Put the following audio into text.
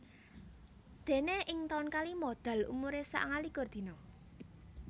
Déné ing taun kalima Dal umuré sangalikur dina